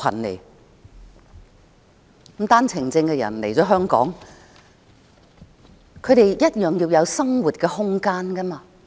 持單程證的人來香港後，他們也需要有生活空間。